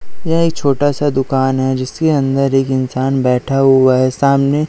यह एक छोटा सा दुकान हैं जिसके अंदर एक इंसान बैठा हुवा हैं सामने--